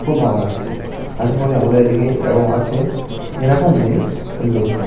খুব ভালো লাগছে। আসা করি আমাদের এই দিকে এরকম আছে। এরকম নেই সুন্দরত্ব।